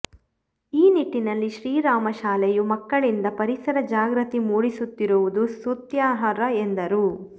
ಈ ನಿಟ್ಟಿನಲ್ಲಿ ಶ್ರೀರಾಮ ಶಾಲೆಯು ಮಕ್ಕಳಿಂದ ಪರಿಸರ ಜಾಗೃತಿ ಮೂಡಿಸುತ್ತಿರುವುದು ಸ್ತುತ್ಯಾರ್ಹ ಎಂದರು